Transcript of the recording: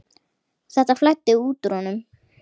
Þetta flæddi út úr honum.